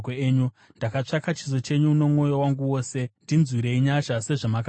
Ndakatsvaka chiso chenyu nomwoyo wangu wose; ndinzwirei nyasha sezvamakavimbisa.